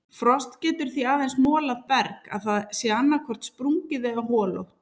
Frost getur því aðeins molað berg að það sé annaðhvort sprungið eða holótt.